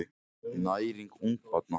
Næring ungbarna.